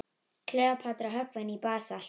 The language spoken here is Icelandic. Kleópatra höggvin í basalt.